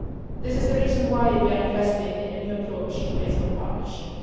This is the reason why we are investing in a new approach based on partnership.